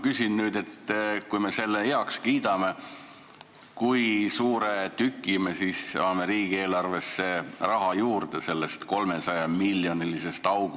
Kui me selle eelnõu heaks kiidame, kui suure tüki sellest 300-miljonilisest august me siis riigieelarvesse raha juurde saame?